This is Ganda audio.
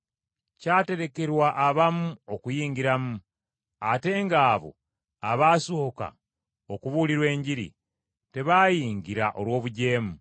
Kyaterekerwa abamu okuyingiramu, ate ng’abo abaasooka okubuulirwa Enjiri, tebaayingira olw’obujeemu.